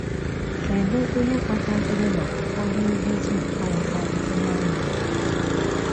Kedụ ihe kpataziri na ụfọdụ ndị Juu aghọtaghị ihe a na-ekwu?